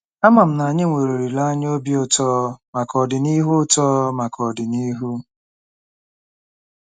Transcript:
Ama m na anyị nwere olileanya obi ụtọ maka ọdịnihu ụtọ maka ọdịnihu.